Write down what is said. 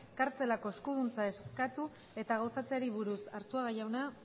kartzelako eskuduntza eskatu eta gauzatzeari buruz arzuaga jauna